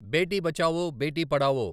Beti Bachao Beti Padhao